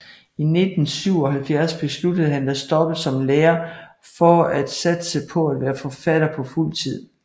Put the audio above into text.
I 1977 besluttede han at stoppe som lærer for at satse på at være forfatter på fuld tid